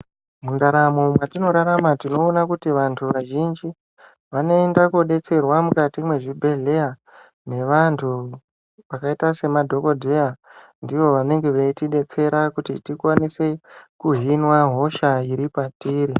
Mundaramo mwatinorarama tinoona kuti vantu vazhinji vanoenda kodetserwa mukati mwezvibhedhleya nevantu vakaita semadhokodheya ndivo vanenge veiti detsera kuti tikwanise kuhinwa hosha iri patiri.